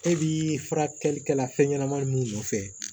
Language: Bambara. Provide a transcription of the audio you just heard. E bi furakɛli kɛla fɛnɲanamanin mun nɔfɛ